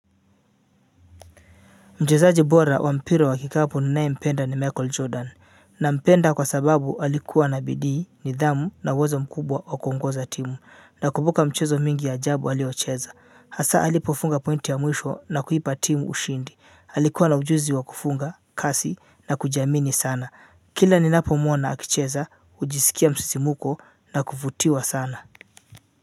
Mchezaji bora wa mpira wa kikapu ninaye mpenda ni Michael Jordan, nampenda kwa sababu alikuwa na bidii, nidhamu na uwezo mkubwa wa kuongoza timu, nakumbuka mchezo mingi ya ajabu aliocheza, hasaa alipofunga pointi ya mwisho na kuipa timu ushindi, alikuwa na ujuzi wa kufunga, kasi na kujiamini sana, kila ninapomwona akicheza, hujisikia msisimuko na kuvutiwa sana.